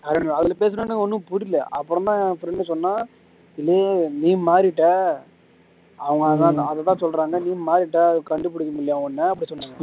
அதுல பேசின உடனே ஒண்ணும் புரியல அப்பறம் தான் friend சொன்னான் நீ மாறிட்டாய் அவங்க அதான் அதைதான் சொல்றாங்க நீ மாறிட்ட அது கண்டு புடிக்க முடியலையாம் உன்னை அப்படி சொன்னாங்க